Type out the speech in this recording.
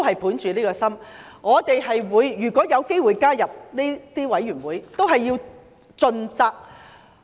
本着此心，我們如果有機會加入調查委員會，應盡責行事。